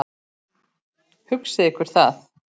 Hugsið ykkur það.